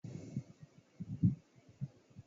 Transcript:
M ga-enye ya agba agba ma ọ bịa.